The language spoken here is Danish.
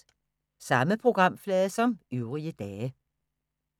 Samme programflade som øvrige dage